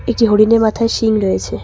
একটি হরিণের মাথায় শিং রয়েছে।